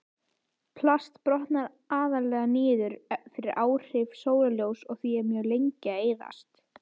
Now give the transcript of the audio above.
Plast brotnar aðallega niður fyrir áhrif sólarljóss og er því mjög lengi að eyðast.